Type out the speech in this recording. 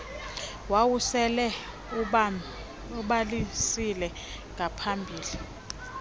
wawusele ubhalisile ngaphambili